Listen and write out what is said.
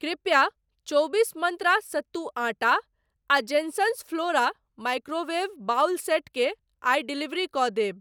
कृपया चौबीस मन्त्रा सत्तू आटा आ Jensons flora microwave bowl set केँ आइ डिलीवर कऽ देब।